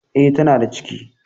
E, tana da ciki.